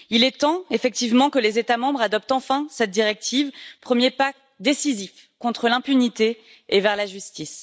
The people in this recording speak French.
Il est temps effectivement que les États membres adoptent enfin cette directive, premier pas décisif contre l'impunité et vers la justice.